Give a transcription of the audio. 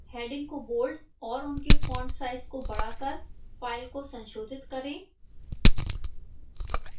headings को bold और उनके font size को बढ़ा कर file को संशोधित करें